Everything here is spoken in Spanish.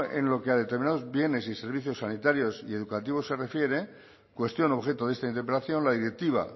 en lo que a determinados bienes y servicios sanitarios y educativos se refiere cuestión objeto de esta interpelación la directiva